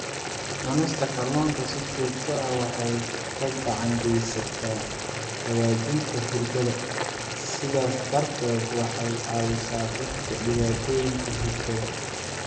Cunista kalluunka si joogto ah waxay gacan ka geysataa hagaajinta hurdada, sidaas darteed waxay caawisaa dadka dhibaatooyinka hurdada.